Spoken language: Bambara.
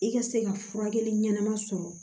I ka se ka furakɛli ɲɛnama sɔrɔ